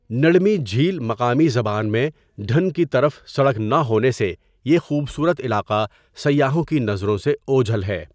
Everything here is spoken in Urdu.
نڑمی جھیل مقامی زبان میں ڈھن کی طرف سڑک نہ ہونے سے یہ خوبصورت علاقہ سیاحوں کی نظروں سے اوجھل ہے۔